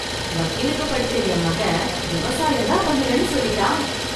வக்கீலுக்கு படிச்ச என் மகன், விவசாயம் தான் பண்ணுவேன்னு சொல்லீட்டான்!